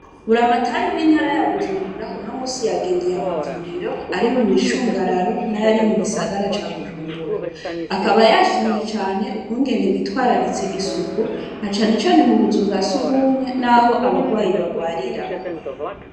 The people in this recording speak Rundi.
Buramatari w'intara ya bujumbura, uno musi yagendeye amavuriro, ari mumicungararo ,n'ayari mugisagara ca bujumbura, akaba yashimye cane ukungene bitwararitse isuku, na cane cane cane mubuzu bwa sugumwe, n'aho abarwayi barwarira.